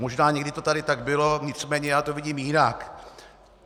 Možná někdy to tady tak bylo, nicméně já to vidím jinak.